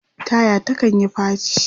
taya ta kanyi faci